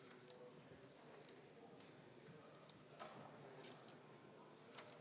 Kuulutan hääletamise Riigikogu esimehe valimisel lõppenuks.